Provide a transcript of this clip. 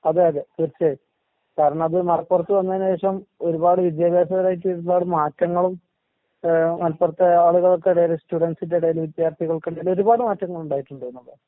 അതെ അതെ തീർച്ചയായും. കാരണത് മലപ്പുറത്ത് വന്നേന് ശേഷം ഒരുപാട് വിദ്യാഭ്യാസപരായിട്ടൊരുപാട് മാറ്റങ്ങളും ഏഹ് മലപ്പുറത്തെ ആളുകൾക്കെടേല് സ്റ്റുഡന്റ്സിന്റെ എടേല് വിദ്യാർത്ഥികൾക്കെടേലൊരുപാട് മാറ്റങ്ങളുണ്ടായിട്ടുണ്ട്ന്നുള്ളതാണ്.